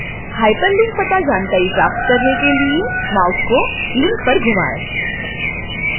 hyperlink to जानकारी प्राप्त करने के लिए mouse को link पर घुमाएं